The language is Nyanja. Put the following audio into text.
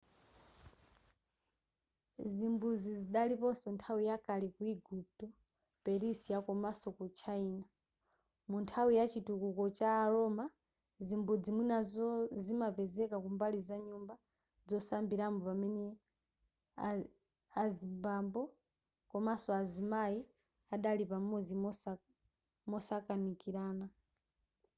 zimbudzi zidaliponso nthawi yakale ku eguputo persia komanso ku china mu nthawi ya chitukuko cha a roma zimbudzi mwinanso zimapezeka kumbali za nyumba zosambiramo pamene azimbambo komanso azimayi adali pamodzi mosakanikirana